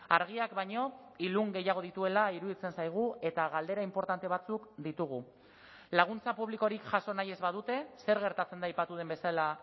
argiak baino ilun gehiago dituela iruditzen zaigu eta galdera inportante batzuk ditugu laguntza publikorik jaso nahi ez badute zer gertatzen da aipatu den bezala